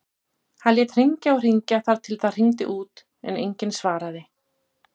Hann lét hringja og hringja þar til það hringdi út en enginn svaraði.